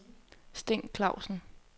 Sten Clausen